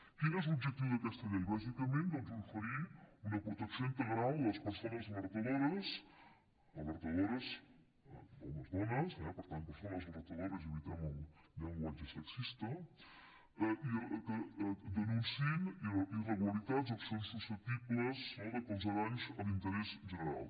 quin és l’objectiu d’aquesta llei bàsicament doncs oferir una protecció integral a les persones alertadores alertadores homes i dones per tant persones alertadores i evitem el llenguatge sexista que denunciïn irregularitats o accions susceptibles de causar danys a l’interès general